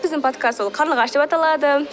біздің подкаст ол қарлығаш деп аталады